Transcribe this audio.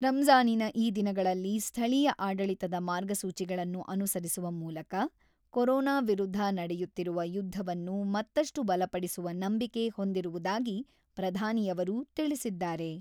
ರಂಜಾನಿನ ಈ ದಿನಗಳಲ್ಲಿ ಸ್ಥಳೀಯ ಆಡಳಿತದ ಮಾರ್ಗಸೂಚಿಗಳನ್ನು ಅನುಸರಿಸುವ ಮೂಲಕ ಕೊರೋನಾ ವಿರುದ್ಧ ನಡೆಯುತ್ತಿರುವ ಯುದ್ಧವನ್ನು ಮತ್ತಷ್ಟು ಬಲಪಡಿಸುವ ನಂಬಿಕೆ ಹೊಂದಿರುವುದಾಗಿ ಪ್ರಧಾನಿಯವರು ತಿಳಿಸಿದ್ದಾರೆ.